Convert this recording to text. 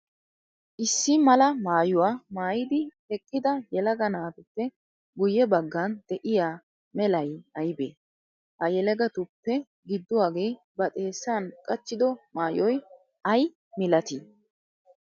Issi mala maayuwaa maayidi eqqida yelaga naatuppe guyye bagan de'iyaa melay aybee? Ha yelagatuppe giduwaage ba xeesan qachchido maayoy ayi milatti?